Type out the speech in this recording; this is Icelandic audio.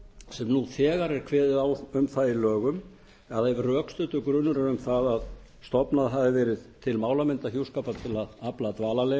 sem nú þegar er kveðið á um í lögum að ef rökstuddur grunur er um að stofnað hafi verið til málamyndahjúskapar til að afla dvalarleyfis